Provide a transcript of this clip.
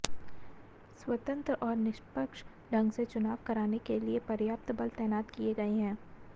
स्वतंत्र और निष्पक्ष ढंग से चुनाव कराने के लिये पर्याप्त बल तैनात किये गये हैं